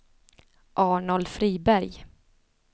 Arnold Friberg